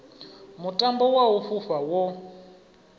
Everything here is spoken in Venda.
mutambo wa u fhufha wo